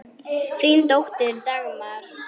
Þín dóttir, Dagmar.